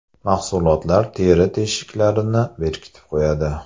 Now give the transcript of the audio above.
Mahsulotlar teri teshiklarini berkitib qo‘yadi.